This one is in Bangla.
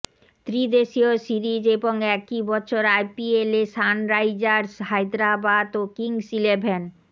ত্রিদেশীয় সিরিজ এবং একই বছর আইপিএলে সানরাইজার্স হায়দরাবাদ ও কিংস ইলেভেন